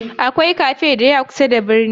Akwai Cafes da yawa a kusa da birnin.